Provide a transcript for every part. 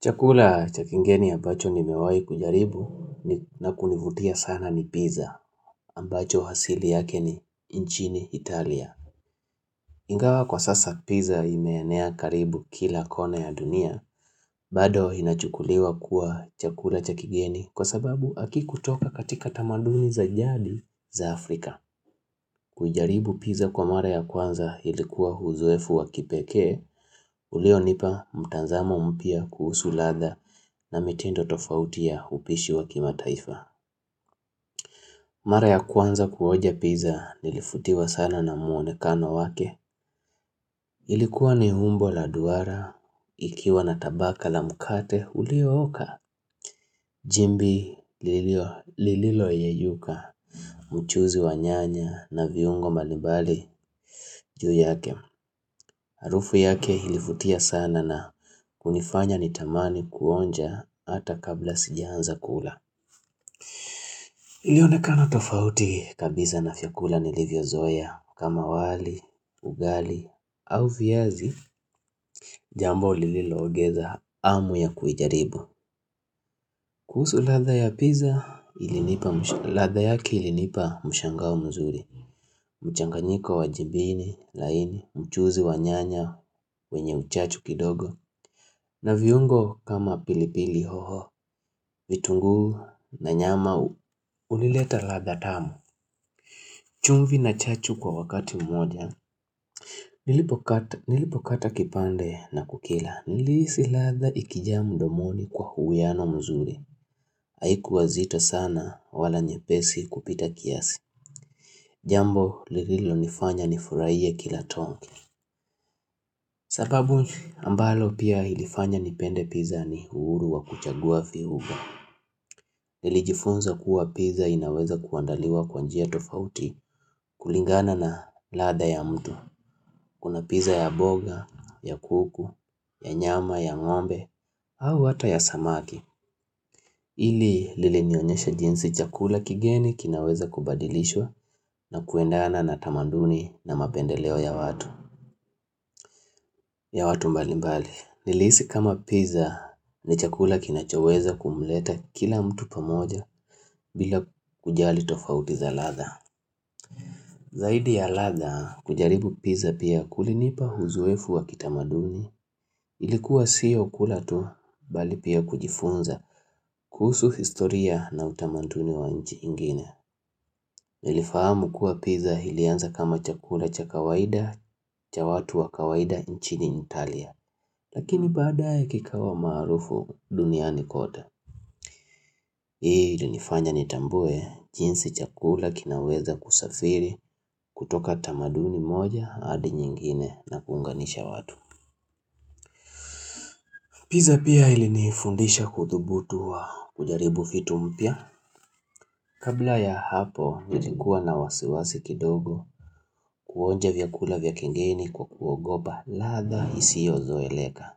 Chakula cha kigeni ambacho nimewahi kujaribu na kunivutia sana ni pizza ambacho asili yake ni nchini Italia. Ingawa kwa sasa pizza imeenea karibu kila kona ya dunia bado inachukuliwa kuwa chakula cha kigeni kwa sababu hakikutoka katika tamaduni za jadi za Afrika. Kujaribu pizza kwa mara ya kwanza ilikuwa uzoefu wa kipekee Ulionipa mtazamo mpya kuhusu ladha na mitindo tofauti ya upishi wa kimataifa Mara ya kwanza kuonja pizza nilivutiwa sana na muonekano wake Ilikuwa ni umbo la duara, ikiwa na tabaka la mkate uliooka Jimbi lililo yeyuka, mchuuzi wa nyanya na viungo mbalimbali juu yake Harufu yake ilivutia sana na kunifanya nitamani kuonja hata kabla sijiaanza kula. Ilionekana tofauti kabisa na vyakula nilivyozoea kama wali, ugali au viazi jambo lililongeza hamu ya kuijaribu. Kuhusu ladha ya pizza ilinipa mshangao mzuri. Mchanganyiko wa jibini laini mchuuzi wa nyanya wenye uchachu kidogo. Na viungo kama pili pili hoho vitunguu na nyama hunileta ladha tamu chumvi na chachu kwa wakati mmoja Nilipo kata kipande na kukila Nilihisi ladha ikijaa mdomoni kwa uwiano mzuri Haikuwa zito sana wala nyepesi kupita kiasi Jambo lililo nifanya nifurahie kila tongi sababu ambalo pia ilifanya nipende pizza ni uhuru wa kuchagua viungo Nili jifunza kuwa pizza inaweza kuandaliwa kwa njia tofauti kulingana na ladha ya mtu Kuna pizza ya mboga, ya kuku, ya nyama, ya ngombe au hata ya samaki ili lilinionyesha jinsi chakula kigeni kinaweza kubadilishwa na kuendana na tamaduni na mapendeleo ya watu ya watu mbalimbali, nilihisi kama pizza ni chakula kinachoweza kumleta kila mtu pamoja bila kujali tofauti za ladha Zaidi ya ladha kujaribu pizza pia kulinipa uzoefu wa kitamaduni ilikuwa sio kula tu bali pia kujifunza kuhusu historia na utamaduni wa nchi ingine. Nilifahamu kuwa pizza ilianza kama chakula cha kawaida cha watu wa kawaida nchini italia. Lakini badae kikawa maarufu duniani kote Hii ilinifanya nitambue jinsi chakula kinaweza kusafiri kutoka tamaduni moja hadi nyingine na kuunganisha watu Pizza pia ilinifundisha kuthubutu au kujaribu vitu mpya Kabla ya hapo nilikuwa na wasiwasi kidogo kuonja vyakula vya kigeni kwa kuogopa ladha isiyozoeleka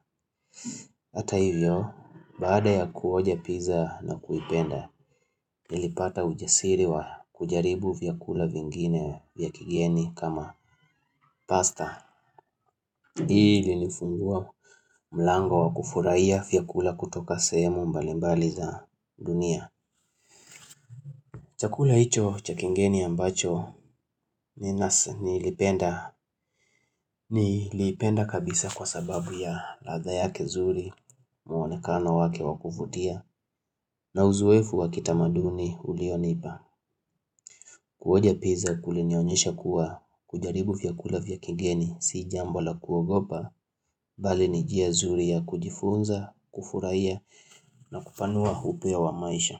Hata hivyo, baada ya kuonja pizza na kuipenda, nilipata ujasiri wa kujaribu vyakula vingine vya kigeni kama pasta Ilinifungua mlango wa kufurahia vyakula kutoka sehemu mbalimbali za dunia Chakula hicho cha kigeni ambacho, nilipenda kabisa kwa sababu ya ladha nzuri mwonekano wake wakuvutia na uzoefu wa kitamaduni ulionipa Kuonja pizza kulinionyesha kuwa kujaribu vyakula vya kigeni Si jambo la kuogopa Bali ni njia zuri ya kujifunza kufurahia na kupanua upeo wa maisha.